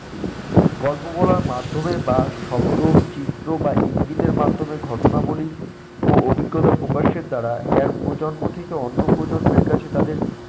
গল্প বলার মাধ্যমে বা শব্দ চিত্র বা ইঙ্গিত এর মাধ্যমে ঘটনাবলী ও অভিজ্ঞতা প্রকাশের দ্বারা এক প্রজন্ম থেকে অন্য প্রজন্মের কাছে তাদের